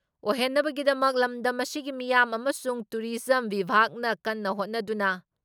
ꯑꯣꯏꯍꯟꯅꯕꯒꯤꯗꯃꯛ ꯂꯝꯗꯝ ꯑꯁꯤꯒꯤ ꯃꯤꯌꯥꯝ ꯑꯃꯁꯨꯡ ꯇꯨꯔꯤꯖꯝ ꯕꯤꯚꯥꯒꯅ ꯀꯟꯅ ꯍꯣꯠꯅꯗꯨꯅ